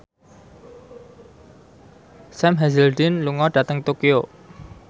Sam Hazeldine lunga dhateng Tokyo